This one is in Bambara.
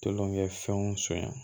Tolonkɛfɛnw sonya